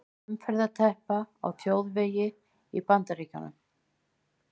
Umferðarteppa á þjóðvegi í Bandaríkjunum.